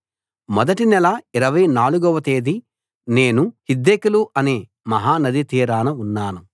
మొదటి నెల ఇరవై నాలుగవ తేది నేను హిద్దెకెలు అనే మహా నది తీరాన ఉన్నాను